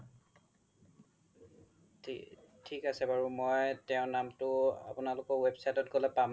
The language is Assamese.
থিক আছে বাৰু মই তেও নামতো আপোনালোকৰ website ত পাম নহয়